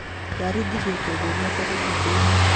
ndaringithia kĩongo gĩake rũthingo inĩ